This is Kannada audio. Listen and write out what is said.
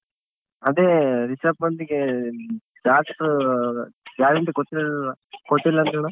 ಅದೇ ರಿಷಬ್ ಪಂತ್ ಗೆ doctor guarantee ಕೊಟ್ಟಿಲ್~ ಕೊಟ್ಟಿಲ್ ಅಂತ್ ಅಣ್ಣ.